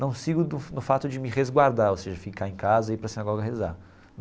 Não sigo no no fato de me resguardar, ou seja, ficar em casa e ir para a sinagoga rezar.